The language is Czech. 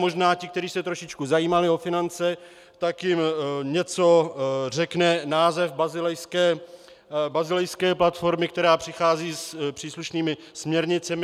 Možná ti, kteří se trošičku zajímali o finance, tak jim něco řekne název basilejské platformy, která přichází s příslušnými směrnicemi.